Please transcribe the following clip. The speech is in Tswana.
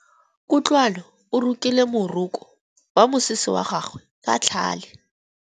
Kutlwanô o rokile morokô wa mosese wa gagwe ka tlhale.